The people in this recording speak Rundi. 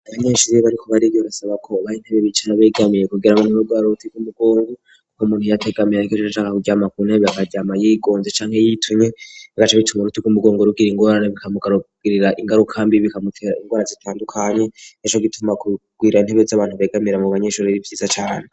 Abanyeshure bariko bariga basaba ko haha hari intebe bicarako begamiye kugira ngo ntibagware bwar uruti gw'umugongu kuko muntu ya tegamire ariko hakaba haheze kuryama ku intebe akaryama y'igonze canka yitunye bigaca bituma uruti gw'umugongo rugwara ingorane bikamugarugirira ingarukambi bikamutera ingora zitandukanye ejo gituma kugwira intebe z'abantu begamira mu banyeshure b'ivyiza cane.